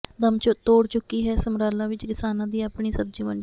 ਦਮ ਤੋੜ ਚੁੱਕੀ ਹੈ ਸਮਰਾਲਾ ਵਿੱਚ ਕਿਸਾਨਾਂ ਦੀ ਆਪਣੀ ਸਬਜ਼ੀ ਮੰਡੀ